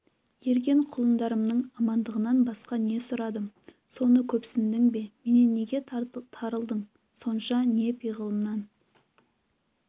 ерген құлындарымның амандығынан басқа не сұрадым соны көпсіндің бе менен неге тарылдың сонша не пиғылымнан